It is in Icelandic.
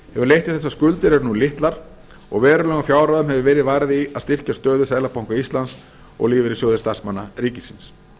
hefur leitt til þess að skuldir eru nú litlar og verulegum fjárhæðum hefur verið varið í að styrkja stöðu seðlabanka íslands og lífeyrissjóði starfsmanna ríkisins